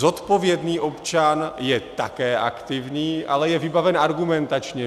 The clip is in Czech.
Zodpovědný občan je také aktivní, ale je vybaven argumentačně.